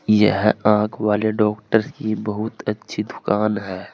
यह आंख वाले डॉक्टर की बहुत अच्छी दुकान है।